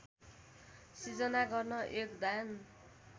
सिर्जना गर्न योगदान